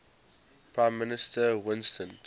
prime minister winston